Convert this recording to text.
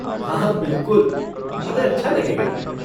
हाँ बिल्कुल, हमें अच्छा लगेगा।